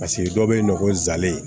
Paseke dɔw bɛ yen nɔ ko zelen